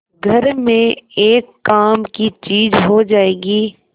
घर में एक काम की चीज हो जाएगी